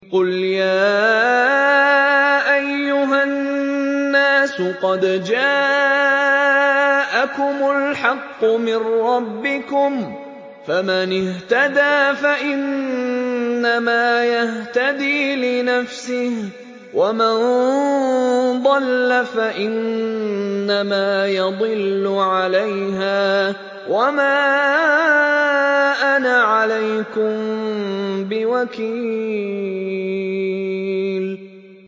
قُلْ يَا أَيُّهَا النَّاسُ قَدْ جَاءَكُمُ الْحَقُّ مِن رَّبِّكُمْ ۖ فَمَنِ اهْتَدَىٰ فَإِنَّمَا يَهْتَدِي لِنَفْسِهِ ۖ وَمَن ضَلَّ فَإِنَّمَا يَضِلُّ عَلَيْهَا ۖ وَمَا أَنَا عَلَيْكُم بِوَكِيلٍ